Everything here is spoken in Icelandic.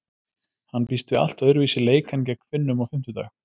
Hann býst við allt öðruvísi leik en gegn Finnum á fimmtudag.